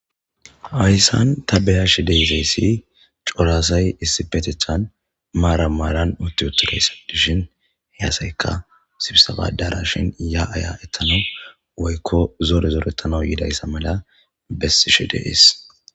Hayisan ta beashe dizayisi co'ra asayi issippetetani maran maran utiwotidayisa gidishin sibseba adarashen ya'a ya'a woyiko zore zoretanawu yodayisa mala besishe de'ees